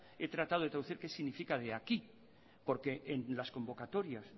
he tratado de traducir qué significa de aquí porque en las convocatorias